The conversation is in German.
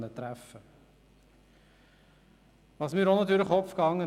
Ausserdem ist mir noch Folgendes durch den Kopf gegangen: